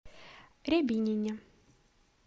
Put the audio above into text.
рябинине